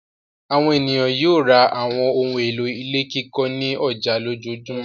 Àwọn ènìyàn yóò ra àwọn ohun-èlò ilé kíkọ́ ní ọjà lójoojúmọ́.